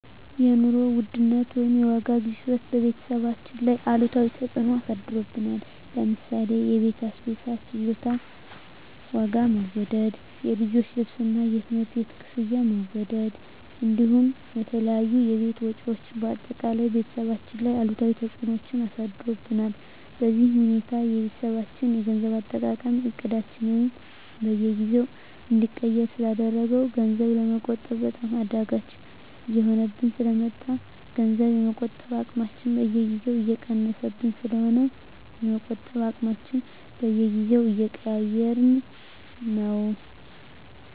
የኑሮ ውድነት ወይም የዋጋ ግሽበት በቤተሰባችን ላይ አሉታዊ ተፅዕኖ አሳድሮብናል ለምሳሌ የቤት አስቤዛ ፍጆታ ዋጋ መወደድ፣ የልጆች ልብስና የትምህርት ቤት ክፍያ መወደድ እንዲሁም የተለያዩ የቤት ወጪዎች በአጠቃላይ ቤተሰባችን ላይ አሉታዊ ተፅዕኖ አሳድሮብናል። በዚህ ሁኔታ የቤተሰባችን የገንዘብ አጠቃቀም እቅዳችንን በየጊዜው እንዲቀየር ስላደረገው ገንዘብ ለመቆጠብ በጣም አዳጋች እየሆነብን ስለ መጣ ገንዘብ የመቆጠብ አቅማችን በየጊዜው እየቀነሰብን ስለሆነ የመቆጠብ አቅማችንን በየጊዜው እየቀያየረው ነው።